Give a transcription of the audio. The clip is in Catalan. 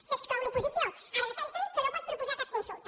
se n’exclou l’oposició ara defensen que no pot proposar cap consulta